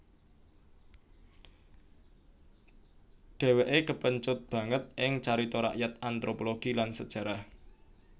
Dheweke kepencut banget ing carita rakyat anthropologi lan sejarah